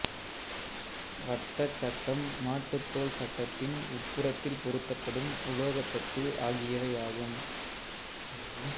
வட்டச் சட்டம் மாட்டுத் தோல் சட்டத்தின் உட்புறத்தில் பொருத்தப்படும் உலோகத் தட்டு ஆகியவையாகும்